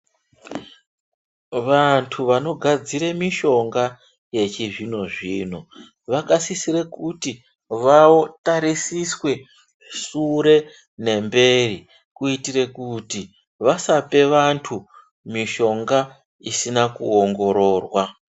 Vantu vano gadzire mishonga yechi zvino zvino vaka sisire kuti vatarisiswe sure ne mberi kuitire kuti vasape vantu mishonga isina ku ongororwa.